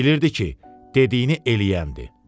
Bilirdi ki, dediyini eləyəndir.